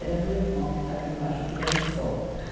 Era meu irmão que estava embaixo do lençol.